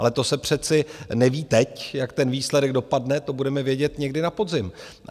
Ale to se přece neví teď, jak ten výsledek dopadne, to budeme vědět někdy na podzim.